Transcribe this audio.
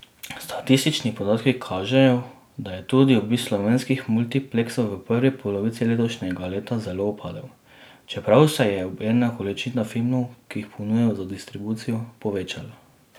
Statistični podatki kažejo, da je tudi obisk slovenskih multipleksov v prvi polovici letošnjega leta zelo upadel, čeprav se je obenem količina filmov, ki jih ponujajo za distribucijo, povečala.